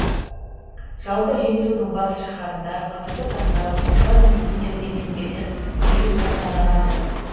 жалпы жетісудың бас шаһарында қазіргі таңда оқушылар мен студенттер зейнеткерлер тегін тасымалданады